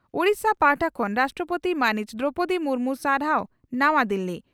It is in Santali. ᱳᱰᱤᱥᱟ ᱯᱟᱦᱴᱟ ᱠᱷᱚᱱ ᱨᱟᱥᱴᱨᱚᱯᱳᱛᱤ ᱢᱟᱹᱱᱤᱡ ᱫᱨᱚᱣᱯᱚᱫᱤ ᱢᱩᱨᱢᱩ ᱥᱟᱨᱦᱟᱣ ᱱᱟᱣᱟ ᱫᱤᱞᱤ